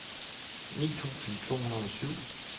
ni tusind to hundrede og syv